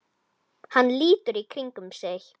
Hann lítur í kringum sig.